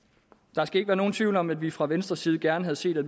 der skal ikke være nogen tvivl om at vi fra venstres side gerne havde set at